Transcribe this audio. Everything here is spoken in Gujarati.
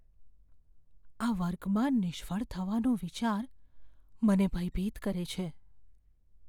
આ વર્ગમાં નિષ્ફળ થવાનો વિચાર મને ભયભીત કરે છે.